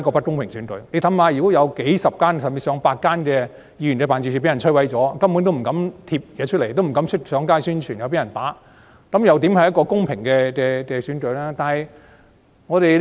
試想想，當有數十間甚至上百間議員辦事處被摧毀，大家根本不敢張貼宣傳品或上街宣傳，怕會被毆打，這又怎算得上是公平的選舉？